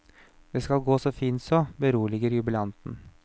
Det skal gå så fint så, beroliger jubilanten.